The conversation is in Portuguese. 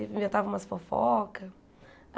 Inventava umas fofocas.